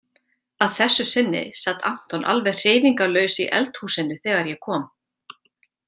Að þessu sinni sat Anton alveg hreyfingarlaus í eldhúsinu þegar ég kom.